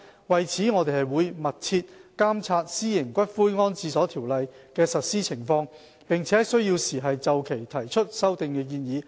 為此，我們會密切監察《私營骨灰安置所條例》的實施情況，並在有需要時就《條例》提出修訂建議。